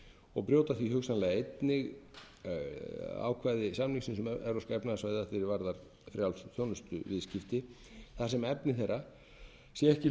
og brjóta því hugsanlega einnig ákvæði samningsins um evrópska efnahagssvæðið að því er varðar frjáls þjónustuviðskipti þar sem efni þeirra sé ekki hluti